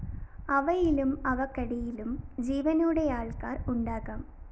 അവയിലും അവക്കടിയിലും ജീവനോടെയാള്‍ക്കാര്‍ ഉണ്ടാകാം